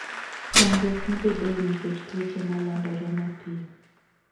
Chandruok mabedoe nikech tuoche malandore mapiyo.